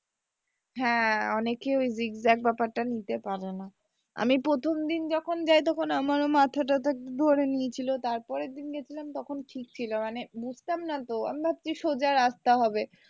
হ্যাঁ অনেকে ওই zig zag ব্যাপারটা নিতে পারে না আমি প্রথম দিন যখন যাই তখন আমারও মাথা থাটা ধরে নিয়েছিলো তারপরের দিন যখন গিয়েছিলাম তখন ঠিক ছিল মানে বুঝতামনা তো আমি ভাবছি সোজা রাস্তা হবে।